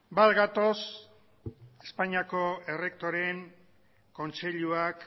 bat gatoz espainiako errektoreen kontseiluak